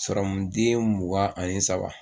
den mugan ani saba